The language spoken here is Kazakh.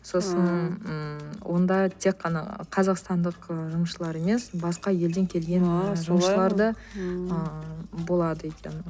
сосын ммм онда тек қана қазақстандық ы жұмысшылар емес басқа елден келген ааа болады екен